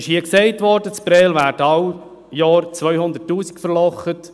Hier wurde gesagt, in Prêles würden wir jedes Jahr 200 000 Franken verlochen.